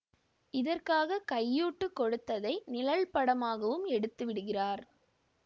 இதற்காக கையூட்டு கொடுத்ததை நிழல்படமாகவும் எடுத்துவிடுகிறார்